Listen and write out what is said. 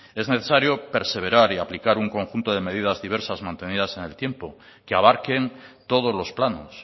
es necesario perseverar y aplicar un conjunto de medidas diversas mantenidas en el tiempo que abarquen todos los planos